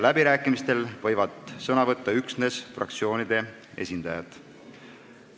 Läbirääkimistel võivad sõna võtta üksnes fraktsioonide esindajad.